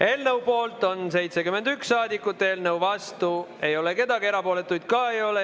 Eelnõu poolt on 71 saadikut, eelnõu vastu ei ole keegi, erapooletuid ka ei ole.